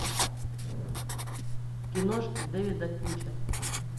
киношки дэвида финчера